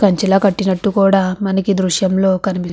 కంచిలా కట్టినట్టు కూడా మనకి దృశ్యంలో కనిపి --